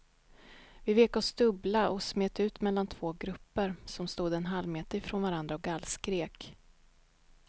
Vi vek oss dubbla och smet ut mellan två grupper som stod en halvmeter ifrån varandra och gallskrek.